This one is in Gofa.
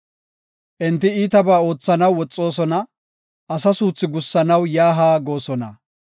Enti iitabaa oothanaw woxoosona; asa suuthi gussanaw yaa haa goosona.